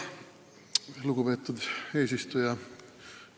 Lugupeetud eesistuja!